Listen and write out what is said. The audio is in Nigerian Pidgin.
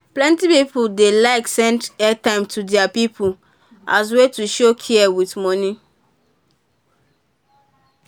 plenty people dey like send airtime to their people as way to show care with money.